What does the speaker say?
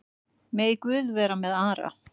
Megi Guð vera með Ara.